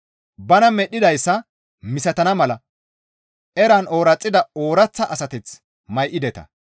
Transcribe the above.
Bana medhdhidayssa misatana mala eran ooraxida ooraththa asateth may7ideta.